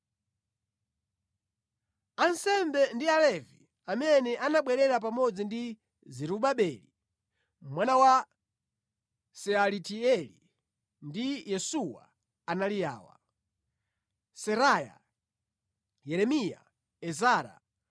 Ansembe ndi Alevi amene anabwerera pamodzi ndi Zerubabeli mwana wa Sealatieli ndi Yesuwa anali awa: Seraya, Yeremiya, Ezara,